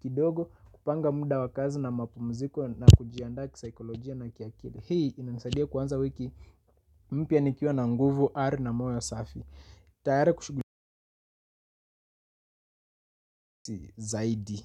kidogo, kupanga muda wakazi na mapumziko na kujiandaa kisaikolojia na kiakili. Hii inanisaidia kwanza wiki mpya nikiwa na nguvu R na moyo safi. Tayari kushughulika zaidi.